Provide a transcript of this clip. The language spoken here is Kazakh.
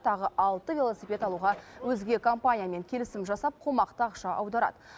тағы алты велосипед алуға өзге компаниямен келісім жасап қомақты ақша аударады